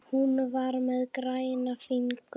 Hún var með græna fingur.